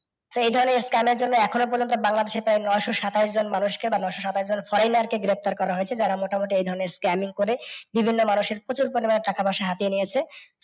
So এই ধরণের scam এর জন্য এখন ও পর্যন্ত বাংলাদেশে প্রায় নয়শ সাতাশ জন মানুষ কে বা নয়শ সাতাশ জন foreigner কে গ্রেফতার করা হয়েছে যারা মোটামুটি এই ধরণের scamming করে বিভিন্ন মানুষের প্রচুর পরিমাণে টাকা পয়সা হাতিয়ে নিয়েছে।